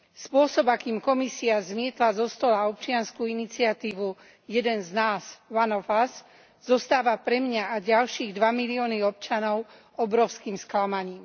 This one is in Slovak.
Spôsob, akým Komisia zmietla zo stola občiansku iniciatívu Jeden z nás One of us zostáva pre mňa a ďalšie dva milióny občanov obrovským sklamaním.